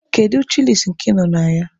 Kedu chịlịs nke ị nọ na ya?